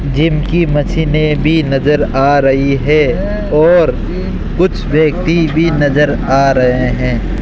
Gym की मशीने भी नजर आ रही है और कुछ व्यक्ति भी नजर आ रहे है।